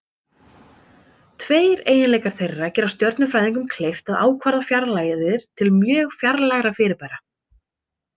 Tveir eiginleikar þeirra gera stjörnufræðingum kleift að ákvarða fjarlægðir til mjög fjarlægra fyrirbæra.